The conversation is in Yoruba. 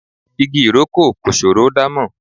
Igi ìrókò kò ṣòro dámọ̀.